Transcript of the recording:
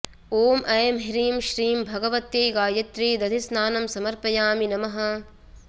ॐ ऐं ह्रीं श्रीं भगवत्यै गायत्र्यै दधिस्नानं समर्पयामि नमः